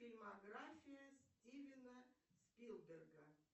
фильмография стивена спилберга